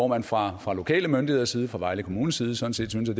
man fra fra lokale myndigheders side fra vejle kommunes side sådan set